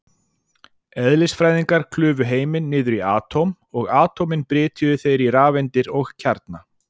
Eðlisfræðingar klufu heiminn niður í atóm, og atómin brytjuðu þeir í rafeindir og kjarna.